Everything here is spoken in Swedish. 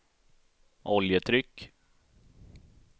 oljetryck